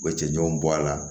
U bɛ cɛncɛnw bɔ a la